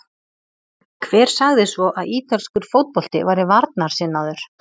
Hver sagði svo að ítalskur fótbolti væri varnarsinnaður?